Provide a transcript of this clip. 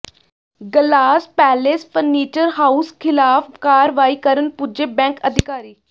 glass palace furniture house ਿਖ਼ਲਾਫ਼ ਕਾਰਵਾਈ ਕਰਨ ਪੁੱਜੇ ਬੈਂਕ ਅਧਿਕਾਰੀ